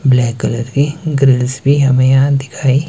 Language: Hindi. ब्लैक कलर की ग्रिल्स भी हमें यहां दिखाई--